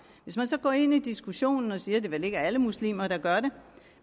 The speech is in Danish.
hvis man så går ind i diskussionen og siger at det vel ikke er alle muslimer der gør det